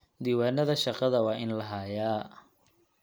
Diiwaanada shaqada waa in la hayaa.